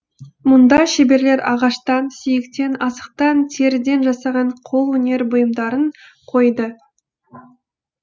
мұнда шеберлер ағаштан сүйектен асықтан теріден жасаған қолөнер бұйымдарын қойды